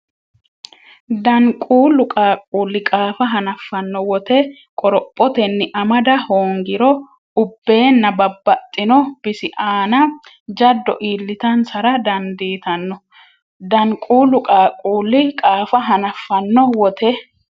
Danquullu qaaqquulli qaafa hanaffanno wote qorophotenni amada hoongiro ubbeenna babbaxxino bisi aana jaddo iillitansara dandiitan- Danquullu qaaqquulli qaafa hanaffanno wote.